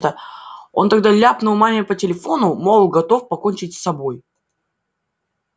он тогда ляпнул маме по телефону мол готов покончить с собой